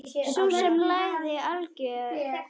Sú sem lagði álögin?